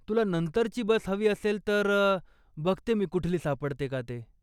तुला नंतरची बस हवी असेल तर, बघते मी कुठली सापडते का ते.